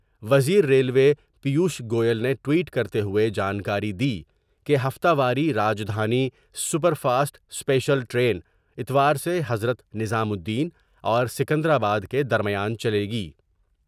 وزیر ریلوے پیوش گویل نے ٹوئٹ کرتے ہوئے جانکاری دی کہ ہفتہ واری Rajdhani super fast special train اتوار سے حضرت نظام الدین اور سکندرآباد کے درمیان چلے گی ۔